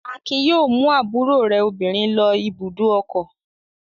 Akin yóò mú àbúrò rẹ̀ obìnrin lọ ibùdó ọkọ̀.